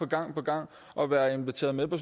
gang på gang at være inviteret med på